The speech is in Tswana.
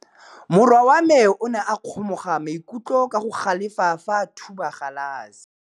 Morwa wa me o ne a kgomoga maikutlo ka go galefa fa a thuba galase.